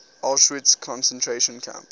auschwitz concentration camp